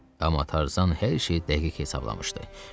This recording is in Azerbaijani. Aman Tarzan hər şeyi dəqiq hesablamışdı.